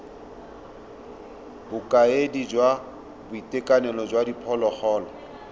bokaedi jwa boitekanelo jwa diphologolo